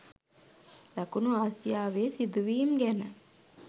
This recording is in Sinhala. දකුණු ආසියාවේ සිදුවීම් ගැන